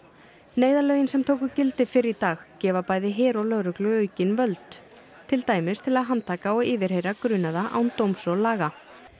neyðarlögin sem tóku gildi fyrr í dag gefa bæði her og lögreglu aukin völd til dæmis til að handtaka og yfirheyra grunaða án dóms og laga